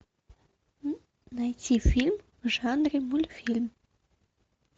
найти фильм в жанре мультфильм